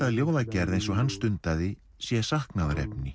að ljóðagerð eins og hann stundaði sé